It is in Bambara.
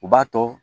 U b'a to